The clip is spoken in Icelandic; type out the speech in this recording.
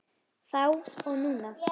Þá og núna.